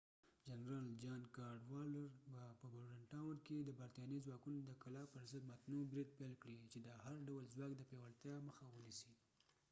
جنرال جان کاډوالډر به په بورډنټاون کې د برتانوي ځواکونو د کلا پرضد متنوع برید پیل کړي چې د هر ډول ځواک د پياوړتيا مخه ونیسي